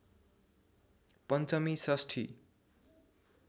पञ्चमी षष्ठी